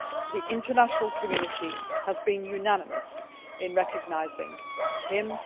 The international community has been unanimous in recognising him.